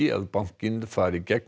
að bankinn fari gegn